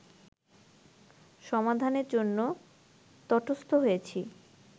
সমাধানের জন্য তটস্থ হয়েছি